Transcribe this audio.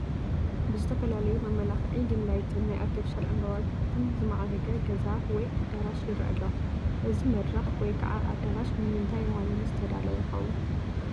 ብዝተፈላለዩ መመላኽዒ ዲምላይትን ናይ ኣርቴፊሻል ዕምበታትን ዝማዕረገ ገዛ ወይ ኣዳራሽ ይረአ ኣሎ፡፡ እዚ መድረኽ ወይ ከዓ ኣዳራሽ ንምንታይ ዋኒን ዝተዳለወ ይኸውን?